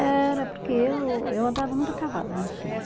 Era, porque eu eu andava muito a cavalo no sítio.